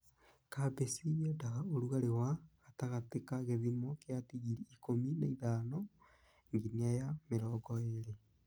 Kabeci yendaga ũrugarĩ wa gatagatĩ ka gĩthino kĩa digiri ikũmi na ithano nginaya mĩrongo ĩrĩ.